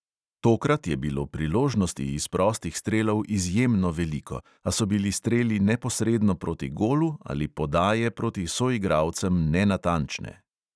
Tokrat je bilo priložnosti iz prostih strelov izjemno veliko, a so bili streli neposredno proti golu ali podaje proti soigralcem nenatančne.